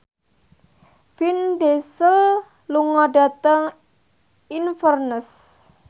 Vin Diesel lunga dhateng Inverness